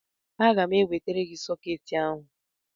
Aga m ewetara gị sọkeetị ahụ